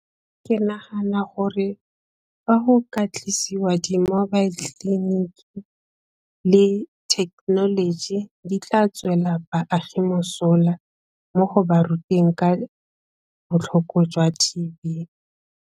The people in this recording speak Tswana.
Ke nagana gore fa go ka tlisiwa di-mobile clinic le thekenoloji di tla tswela baagi mosola mo go ba ruteng ka botlhoko jwa T_B.